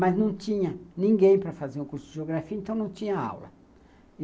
Mas não tinha ninguém para fazer um curso de Geografia, então não tinha aula.